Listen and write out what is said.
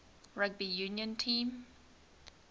rugby union team